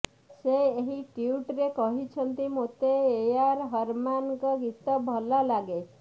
ସେ ଏହି ଟ୍ୱିଟରେ କହିଛନ୍ତି ମୋତେ ଏଆର ରହମାନଙ୍କ ଗୀତ ଭଲଲାଗେ